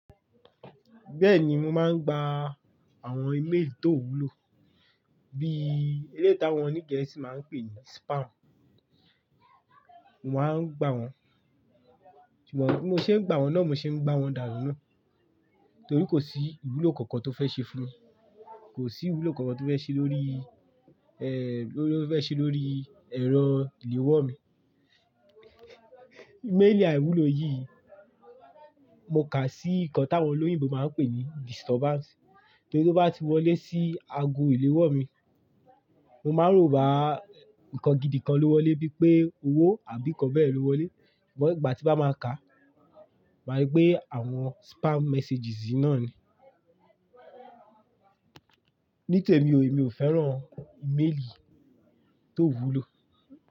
Bẹ́ẹ̀ni, mo máa ń gba àwọn email tó wúlò, bí éléyì tá wọn oní Gẹ̀ẹ́sì máa ń pè ní spam. Mo máa ń gba wọn, ṣùgbọ́n bí mo ṣe ń gba wọn náà, mo ṣe ń gba wọn dàànu náà torí kò sí ìwúlò kankan tó fẹ́ ṣe fún mi. Kò sí ìwúlò kankan tó fẹ́ ṣe lórí, lórí fẹ́ ṣe lórí ẹ̀rọ ìléwọ́ mi. Email àíwúlò yìí, mo kà sí nǹkan tí àwọn olóyìnbo máa ń pè ní disturbance. Torí tó bá ti wọlé sí ago ìléwọ́ mi, mo máa ń rò bá nǹkan gidi kan ló wọlé bíi pé owó àbí nǹkan bẹ́ẹ̀ ló wọlé. Ṣùgbọ́n ìgbà tí bá máa ka, màá rí pé àwọn spam messages náà ni. Ní tèmi o, èmi ò fẹ́ràn email tó ó wúlò.